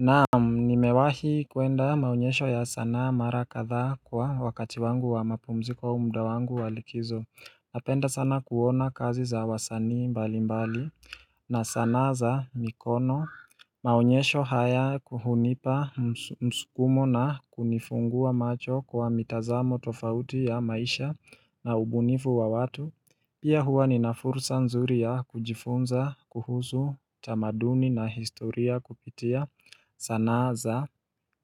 Naam nimewahi kuenda maonyesho ya sanaa mara kadhaa kwa wakati wangu wa mapumziko au mda wangu wa likizo. Napenda sana kuona kazi za wasani mbali mbali na sanaa za mikono Maonyesho haya hunipa mskumo na kunifungua macho kwa mitazamo tofauti ya maisha na ubunivu wa watu Pia huwa ninafursa nzuri ya kujifunza kuhusu tamaduni na historia kupitia sanaa za